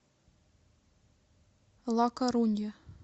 ла корунья